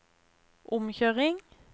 omkjøring